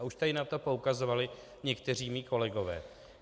A už tady na to poukazovali někteří mí kolegové.